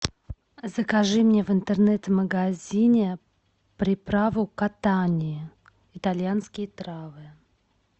закажи мне в интернет магазине приправу котани итальянские травы